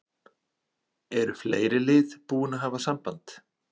En eru fleiri lið búin að hafa samband?